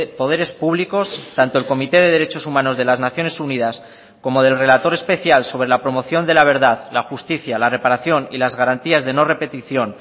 poderes públicos tanto el comité de derechos humanos de las naciones unidas como del relator especial sobre la promoción de la verdad la justicia la reparación y las garantías de no repetición